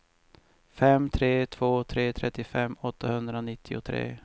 fem tre två tre trettiofem åttahundranittiotre